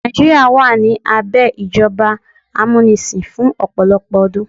Nàìjíríà wà ní abẹ́ ìjọba amúnisìn fún ọ̀pọ̀lọpọ̀ ọdún.